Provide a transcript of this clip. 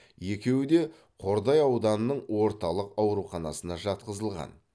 екеуі де қордай ауданының орталық ауруханасына жатқызылған